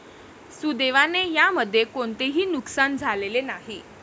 सुदैवाने यामध्ये कोणतेही नुकसान झालेले नाही.